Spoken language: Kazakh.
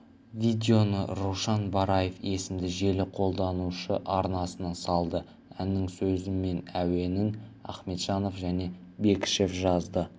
видеоны рушан бараев есімді желі қолданушы арнасына салды әннің сөзі мен әуенін ахметжанов және бекішев жазды